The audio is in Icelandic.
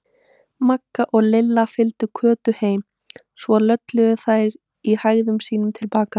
Magga og Lilla fylgdu Kötu heim, svo lölluðu þær í hægðum sínum til baka.